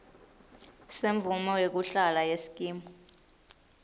semvumo yekuhlala yesikimu